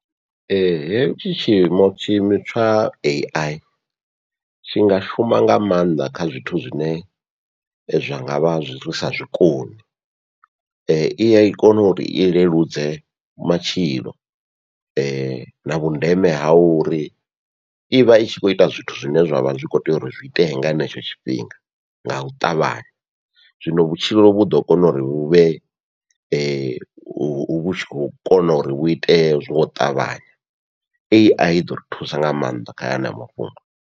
Hetshi tshiimo tsha AI tshi nga shuma nga maanḓa kha zwithu zwine zwa ngavha zwisa zwikoni, iya kona uri i leludze matshilo na vhundeme ha uri ivha itshi khou ita zwithu zwine zwavha zwi kho tea uri zwi itee nga henetsho tshifhinga ngau ṱavhanya, zwino vhutshilo vhu ḓo kona uri vhu vhe hu khou kona uri vhu itee zwo ṱavhanya AI iḓo ri thusa nga maanḓa kha hanea mafhungo.